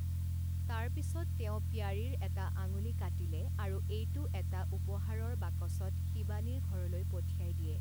তাৰপিছত তেওঁ প্যাৰীৰ এটা আঙুলি কাটিলে আৰু এইটো এটা উপহাৰৰ বাকচত শিৱানীৰ ঘৰলৈ পঠিয়াই দিয়ে।